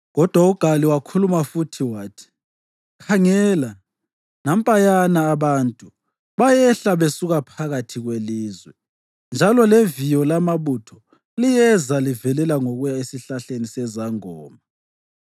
Kodwa uGali wakhuluma futhi wathi, “Khangela, nampayana abantu bayehla besuka phakathi kwelizwe, njalo leviyo lamabutho liyeza livelela ngokuya esihlahleni sezangoma.”